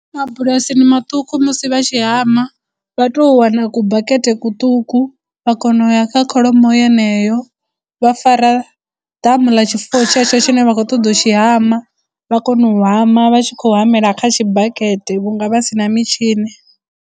Mabulasini maṱuku musi vha tshi hama vha tou wana ku bakete kuṱuku vha kona u ya kha kholomo yeneyo. Vha fara ḓamu ḽa tshifuwo tshetsho tshine vha khou ṱoḓa u tshi hama vha kona u hama vha tshi khou hamela kha tshibakete vhunga vha sina mitshini.